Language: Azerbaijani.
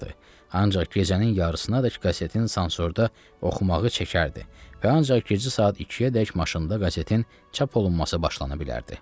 Ancaq gecənin yarısına dək qazetin sansorda oxumağı çəkərdi və ancaq gecə saat 2-yə dək maşında qazetin çap olunması başlana bilərdi.